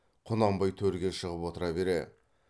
құнанбай төрге шығып отыра бере